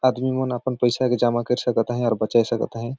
आदमी मन अपन पईसा के जमा कर सकत है और बचाई सकत है।